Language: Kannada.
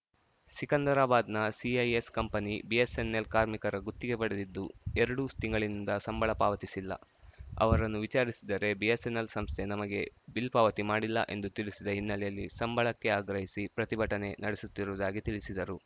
ಸಿಕಂದರಾಬಾದ್‌ನ ಸಿಐಎಸ್‌ ಕಂಪನಿ ಬಿಎಸ್‌ಎನ್‌ಎಲ್‌ ಕಾರ್ಮಿಕರ ಗುತ್ತಿಗೆ ಪಡೆದಿದ್ದು ಎರಡು ತಿಂಗಳಿನಿಂದ ಸಂಬಳ ಪಾವತಿಸಿಲ್ಲಅವರನ್ನು ವಿಚಾರಿಸಿದರೆ ಬಿಎಸ್‌ಎನ್‌ಎಲ್‌ ಸಂಸ್ಥೆ ನಮಗೆ ಬಿಲ್‌ ಪಾವತಿ ಮಾಡಿಲ್ಲ ಎಂದು ತಿಳಿಸಿದ ಹಿನ್ನಲೆಯಲ್ಲಿ ಸಂಬಳಕ್ಕೆ ಆಗ್ರಹಿಸಿ ಪ್ರತಿಭಟನೆ ನಡೆಸುತ್ತಿರುವುದಾಗಿ ತಿಳಿಸಿದರು